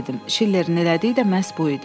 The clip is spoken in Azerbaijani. "Şillerin elədiyi də məhz bu idi."